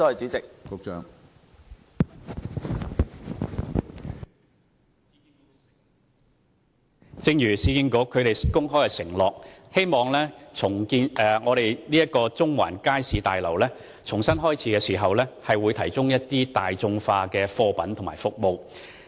正如市建局公開承諾，政府希望中環街市大樓重新啟用後，會提供大眾化的貨品和服務。